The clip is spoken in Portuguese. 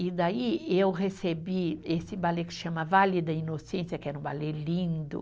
E daí eu recebi esse balé que chama Vale da Inocência, que era um balé lindo.